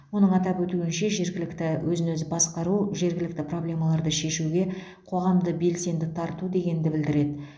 оның атап өтуінше жергілікті өзін өзі басқару жергілікті проблемаларды шешуге қоғамды белсенді тарту дегенді білдіреді